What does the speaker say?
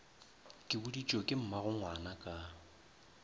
ke boditšwe ke mmagongwana ka